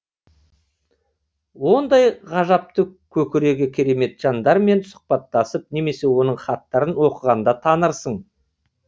ондай ғажапты көкірегі керемет жандармен сұбхаттасып немесе оның хаттарын оқығанда танырсың